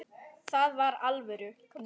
Það var alvöru.